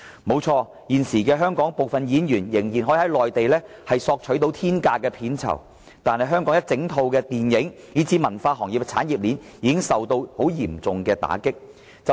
不錯，現時香港部分演員仍可在內地索取天價片酬，但香港的電影，以至文化行業的產業鏈已受到嚴重的打擊。